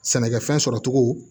Sɛnɛkɛfɛn sɔrɔcogo